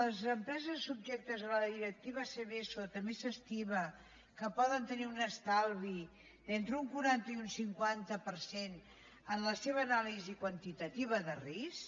les empreses subjectes a la directiva seveso també s’estima que poden tenir un estalvi d’entre un quaranta i un cinquanta per cent en la seva anàlisi quantitativa de risc